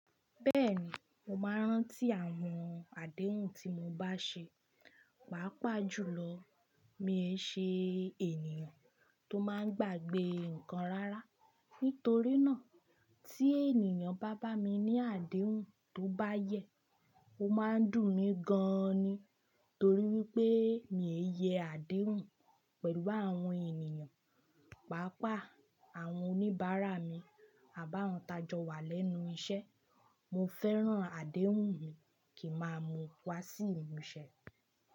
Bẹ́ẹ̀ni, mo máa ń rántí àwọn àdéhùn tí mo bá ṣe, pàápàá jùlọ mi ò ṣe ènìyàn tó máa ń gbàgbé nǹkan rárá. Nítorí náà tí ènìyàn bá bá mi ní àdéhùn tó bá yẹ, ó máa ń dùn mí gan-an ni. Torí wípé mi ò yẹ àdéhùn pẹ̀lú àwọn ènìyàn, pàápàá àwọn oníbàárà mi àbá àwọn tajọ́wà lẹ́nu iṣẹ́. Mo fẹ́ràn àdéhùn mi kì máa mu wá sí ìmúṣẹ.